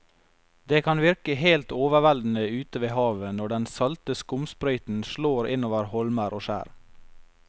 Det kan virke helt overveldende ute ved havet når den salte skumsprøyten slår innover holmer og skjær.